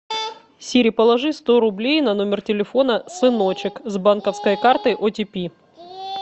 сири положи сто рублей на номер телефона сыночек с банковской карты о ти пи